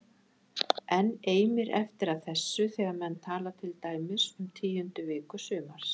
Enn eimir eftir af þessu þegar menn tala til dæmis um tíundu viku sumars